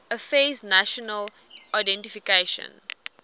affairs national identification